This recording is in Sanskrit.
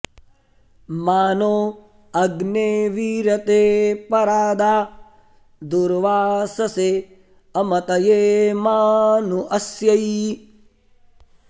मा नो अग्नेऽवीरते परा दा दुर्वाससेऽमतये मा नो अस्यै